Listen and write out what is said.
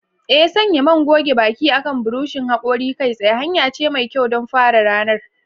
Ee, sanya man goge baki akan buroshin hakori kai tsaye hanya ce mai kyau don fara ranar.